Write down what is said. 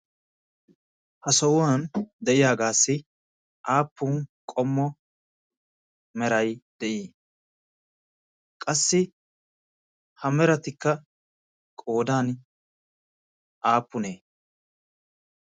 ha sohuwan de'iyaagaassi aappun qommo meray de'ii qassi ha meratikka qoodan aappunee?